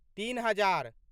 तीन हजार